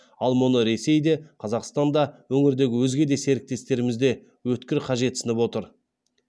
ал мұны ресей де қазақстан да өңірдегі өзге де серіктестеріміз де өткір қажетсініп отыр